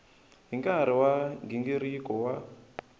hi nkarhi wa nghingiriko wa